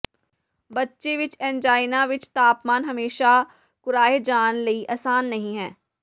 ਬੱਚੇ ਵਿਚ ਐਨਜਾਈਨਾ ਵਿੱਚ ਤਾਪਮਾਨ ਹਮੇਸ਼ਾ ਕੁਰਾਹੇ ਜਾਣ ਲਈ ਆਸਾਨ ਨਹੀ ਹੈ